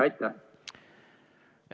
Aitäh!